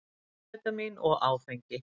Amfetamín og áfengi.